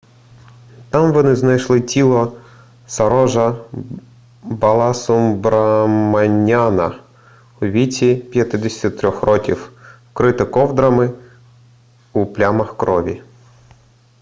там вони знайшли тіло сарожа баласубраманяна у віці 53 років вкрите ковдрами у плямах крові